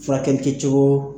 Furakɛlikɛcogo.